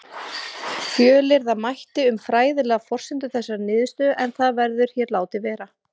Fjölyrða mætti um fræðilegar forsendur þessarar niðurstöðu en það verður hér látið vera.